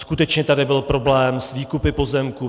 Skutečně tady byl problém s výkupy pozemků.